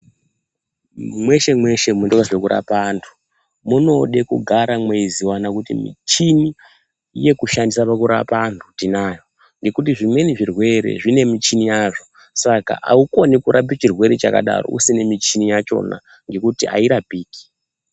Mweshe-mweshe munoitwa zvekurapa antu munode kugara mweiziva kuti michini yekushandisa pakurapa antu ndinayo. Nekuti zvimweni zvirwere zvine michini yazvo saka haukoni kurapa chirwere chakadaro usina michini yachona ngekuti hairapiki.